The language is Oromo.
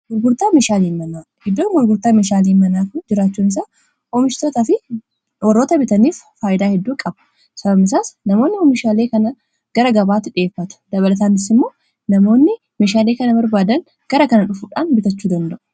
Iddoon gurgurtaa meeshaaleen manaa jiraachuun isaa oomishtoota fi warroota bitaniif faayyidaa hedduu qaba sabamisaas namoonni oomishaalii kana gara gabaattu dhi'effata dabalataannisi immoo namoonni meshaalii kana barbaadan gara kana dhufuudhaan bitachuu danda'u.